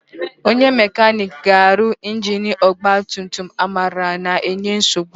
Onye mekaniki ga-arụ ingini ọgbatumtum Amara na-enye nsogbu.